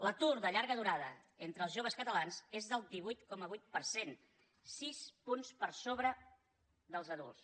l’atur de llarga durada entre els joves catalans és del divuit coma vuit per cent sis punts per sobre dels adults